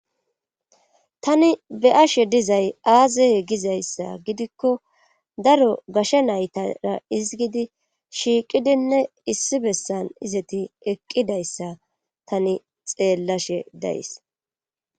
Tani be7ashe dizay aaze gizayssa gidikko daro gashe naytara ezggidi shiiqidinne issi bessan eqqidayssa tani xeelashe days.